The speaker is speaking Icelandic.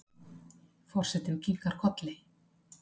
Forsetinn kinkar kolli.